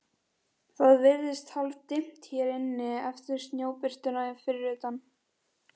Það virðist hálfdimmt hér inni eftir snjóbirtuna fyrir utan.